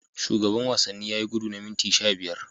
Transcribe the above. Shugaban wanni yayi gudu na minti sha biyar.